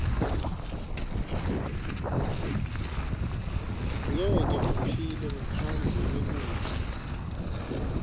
ngeke uphile ngaphandle kwekudla